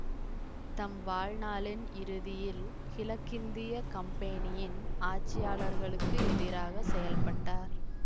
தம் வாழ்நாளின் இறுதியில் கிழக்கிந்திய கம்பெனியின் ஆட்சியாளர்களுக்கு எதிராக செயல்பட்டார்